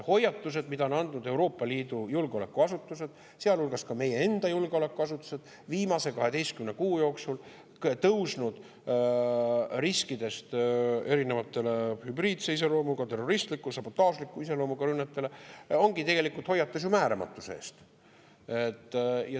Hoiatused, mida Euroopa Liidu julgeolekuasutused, sealhulgas meie enda julgeolekuasutused, on andnud viimase 12 kuu jooksul erinevate hübriidse iseloomuga, terroristliku, sabotaažliku iseloomuga rünnete riskide eest, ongi tegelikult ju hoiatus määramatuse eest.